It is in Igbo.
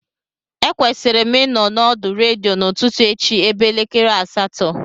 Ekwesịrị m ịnọ n'ọdọ redio n'ụtụtụ echi ebe elekere asatọ